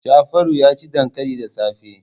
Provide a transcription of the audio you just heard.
Jafaru ya ci dankali da safe.